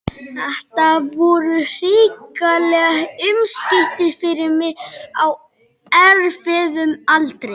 Þetta voru hrikaleg umskipti fyrir mig á erfiðum aldri.